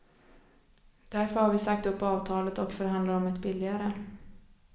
Därför har vi sagt upp avtalet och förhandlar om ett billigare.